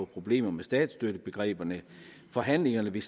problemer med statsstøttebegreberne forhandlingerne vil